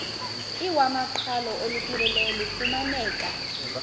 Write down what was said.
iwamaqhalo olupheleleyo lufumaneka